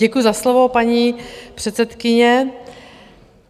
Děkuji za slovo, paní předsedkyně.